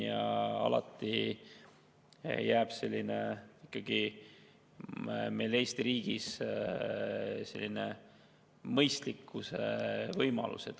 Ja alati jääb Eesti riigis kehtima ka mõistliku võimalus.